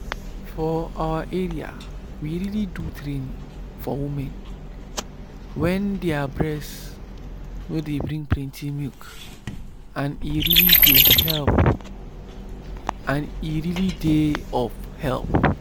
for our area we really do training for women wen their breast nor dey bring plenty milk and e really dey of help.